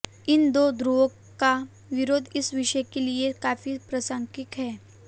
इन दो ध्रुवों का विरोध इस विषय के लिए काफी प्रासंगिक है